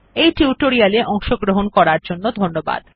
এই টিউটোরিয়াল এ অংশগ্রহন করার জন্য ধন্যবাদ